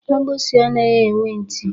Agbusi anaghị enwe ntị